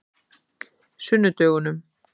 sunnudögunum